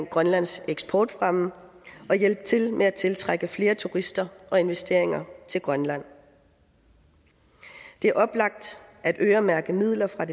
grønlands eksportfremme og hjælpe til med at tiltrække flere turister og investeringer til grønland det er oplagt at øremærke midler fra